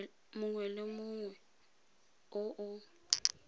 mongwe le mongwe o o